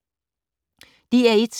DR1